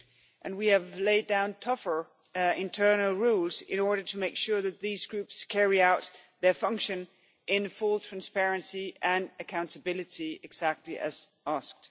And we have laid down tougher internal rules in order to make sure that these groups carry out their function in full transparency and accountability exactly as asked.